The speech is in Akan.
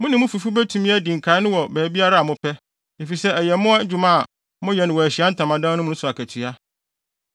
Mo ne mo fifo betumi adi nkae no wɔ baabiara a mopɛ, efisɛ ɛyɛ mo adwuma a moyɛ no wɔ Ahyiae Ntamadan mu no so akatua.